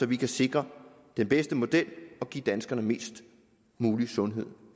vi kan sikre den bedste model og give danskerne mest mulig sundhed